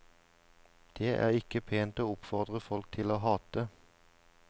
Det er ikke pent å oppfordre folk til å hate.